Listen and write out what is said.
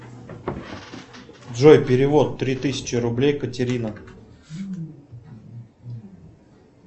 джой перевод три тысячи рублей катерина